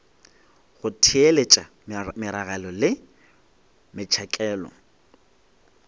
go theeletša meragelo le metšhakelo